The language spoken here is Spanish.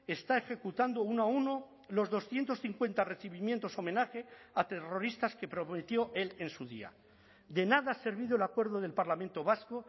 está ejecutando uno a uno los doscientos cincuenta recibimientos homenaje a terroristas que prometió él en su día de nada ha servido el acuerdo del parlamento vasco